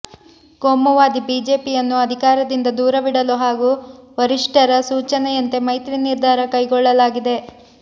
ಕೋಮುವಾದಿ ಬಿಜೆಪಿಯನ್ನು ಅಧಿಕಾರದಿಂದ ದೂರವಿಡಲು ಹಾಗೂ ವರಿಷ್ಠರ ಸೂಚನೆಯಂತೆ ಮೈತ್ರಿ ನಿರ್ಧಾರ ಕೈಗೊಳ್ಳಲಾಗಿದೆ